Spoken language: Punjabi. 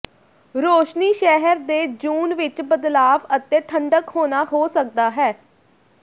ਰੌਸ਼ਨੀ ਸ਼ਹਿਰ ਦੇ ਜੂਨ ਵਿੱਚ ਬਦਲਾਵ ਅਤੇ ਠੰਢਕ ਹੋਣਾ ਹੋ ਸਕਦਾ ਹੈ